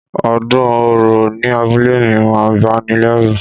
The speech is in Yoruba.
Ọdún òrò ní abúlé mi máa ń bani lẹ́rù